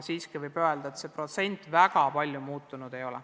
Siiski võib öelda, et see protsent väga palju muutunud ei ole.